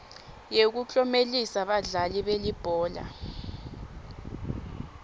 yekuklomelisa badlali belibhola